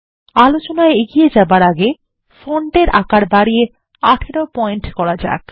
আলোচনায় এগিয়ে যাওয়ার আগে ফন্টের আকার বাড়িয়ে ১৮ পয়েন্ট করা যাক